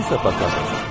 Sənsə parkdasən.